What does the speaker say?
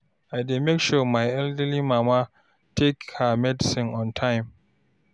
I dey make sure my elderly mama take her medicine on time.